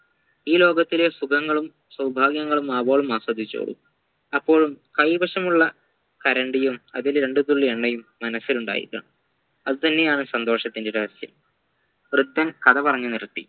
ഈ ലോകത്തിലെ സുഖങ്ങളും സൗഭാഗ്യങ്ങളും ആവോളം ആസ്വദിച്ചോളൂ അപ്പോഴും കൈവശമുള്ള കരണ്ടിയും അതിൽ രണ്ടുതുള്ളി എണ്ണയും മനസ്സിലുണ്ടായിരിക്കണം അത് തെന്നെയാണ് സന്തോഷത്തിൻ്റെ രഹസ്യം വൃദ്ധൻ കഥ പറഞ്ഞു നിർത്തി